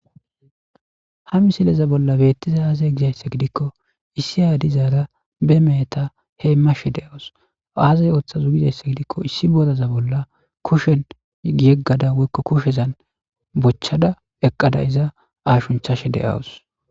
ha misileza bolla beettiza aazay gizaysse gidikko issi aya dizaara be meeheta heemashe de'awus aazi ooththazo gizaysse gidikko issi bodaza bolla kushen yeggada woykko kushezan bochchada eqqada iza aashunchashe de'awus